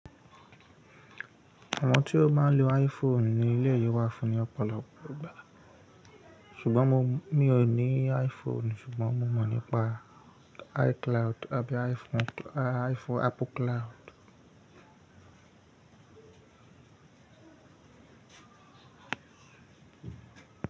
Àwọn tí ó máa ń lo iPhone ni e le yíwà fún ní ọ̀pọ̀lọpọ̀ ìgbà. Ṣùgbọ́n mo, mi ò ní iPhone ṣùgbọ́n mo mọ̀ nípa iCloud àbí iPhone-- a, iPhone-- Apple Cloud.